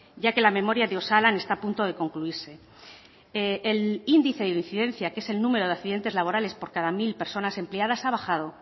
ya que la memoria de osalan está a punto de concluirse el índice de incidencia que es el número de accidentes laborales por cada mil personas empleadas ha bajado